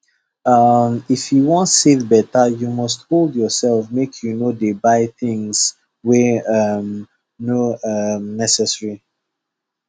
um if you wan save better you must hold yourself make you no dey buy things wey um no um necessary